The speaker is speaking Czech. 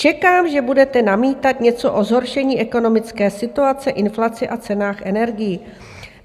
Čekám, že budete namítat něco o zhoršení ekonomické situace, inflaci a cenách energií.